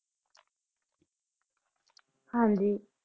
ਹਾਂਜੀ।